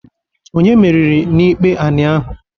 Onye meriri n'ikpe anị ahụ?